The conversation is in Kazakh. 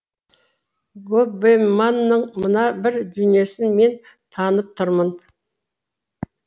гоббеманың мына бір дүниесін мен танып тұрмын